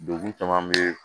Degun caman bɛ